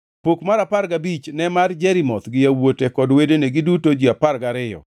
Pok mar apar gabich ne mar Jerimoth gi yawuote kod wedene, giduto ji apar gariyo,